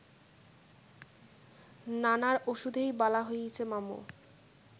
নানার ওষুধেই বালা হইছে মামু